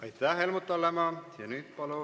Aitäh, Helmut Hallemaa!